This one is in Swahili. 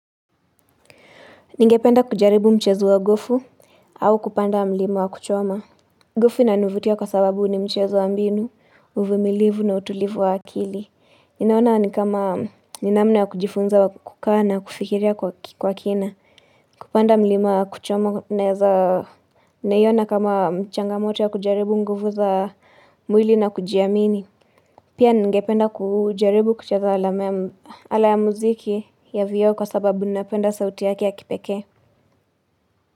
Ningependa kujaribu mchezo wa gofu au kupanda mlima wa kuchoma. Gofu inanivutia kwa sababu ni mchezo wa mbinu, uvumilivu na utulivu wa akili. Ninaona ni kama ni namna ya kujifunza wa kukaa na kufikiria kwa kina. Kupanda mlima wa kuchoma unaeza ninaiona kama changamoto ya kujaribu nguvu za mwili na kujiamini. Pia ningependa kujaribu kucheza ala ya muziki ya vioo kwa sababu ninapenda sauti yake ya kipekee.